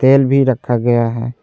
तेल भी रखा गया है।